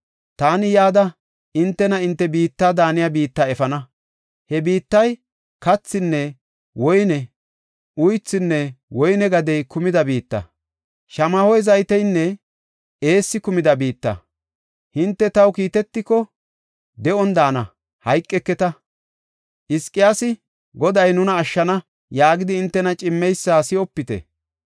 Taani yada, hintena hinte biitta daaniya biitta efana. He biittay kathinne woyney, uythinne woyne gadey kumida biitta; shamaho zayteynne eessi kumida biitta. Hinte taw kiitetiko, de7on daana; hayqeketa. Hizqiyaasi, ‘Goday nuna ashshana’ yaagidi hintena cimmeysa si7opite.